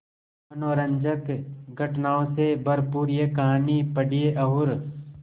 मनोरंजक घटनाओं से भरपूर यह कहानी पढ़िए और